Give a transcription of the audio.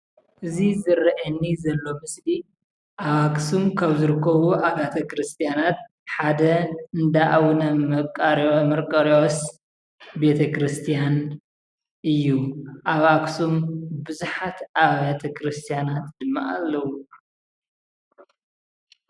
እዚ ዝረአየኒ ዘሎ ምስሊ ኣብ ኣክሱም ከም ዝርከቡ ኣብያተ ክርስትያመናት ሓደ እንዳኣቡነ መንቃርዮስ ቤተክርስትያን እዩ፡፡ ኣብ ኣክሱም ቡዙሓት ኣብያተ ቤተክርስትያናት ድማ ኣለዉ፡፡